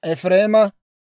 Nifttaaleema 53,400;